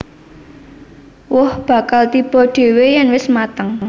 Woh bakal tiba dhéwé yèn wis mateng